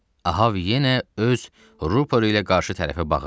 Ahab yenə öz rüporu ilə qarşı tərəfə bağırdı.